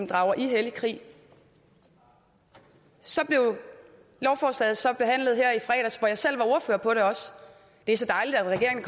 drager i hellig krig så blev lovforslaget så behandlet her i fredags hvor jeg selv var ordfører på det det er så dejligt at regeringen